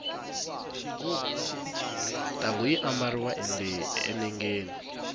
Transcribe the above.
ntangu yi ambariwa enengeni